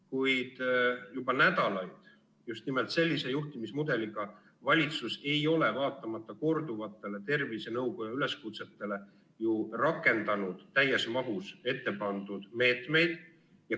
Kuid juba nädalaid just nimelt sellise juhtimismudeliga valitsus ei ole vaatamata korduvatele tervisenõukoja üleskutsetele ju rakendanud täies mahus ettepandud meetmeid.